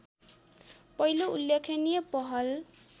पहिलो उल्लेखनीय पहल